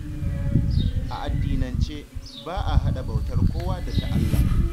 A addinace, ba a haɗa bautar kowa da ta Allah